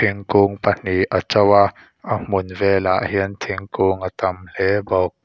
thingkung pahnih a to a a hmun velah hian thingkung a tam hle bawk.